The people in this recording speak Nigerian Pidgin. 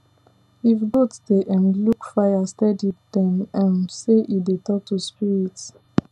if goat dey um look fire steady dem um say e dey talk to spirits